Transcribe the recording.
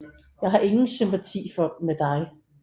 Jeg har ingen sympati med dig